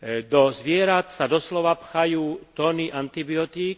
Do zvierat sa doslova pchajú tony antibiotík.